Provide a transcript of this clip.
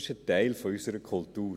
Das ist ein Teil unserer Kultur.